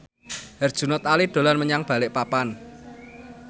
Herjunot Ali dolan menyang Balikpapan